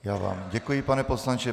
Já vám děkuji, pane poslanče.